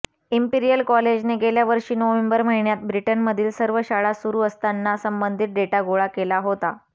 imperial कॉलेजने गेल्यावर्षी November महिन्यात ब्रिटनमधील सर्व शाळा सुरु असताना संबंधित डेटा गोळा केला होता